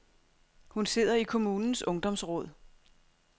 Hun sidder i kommunens ungdomsråd.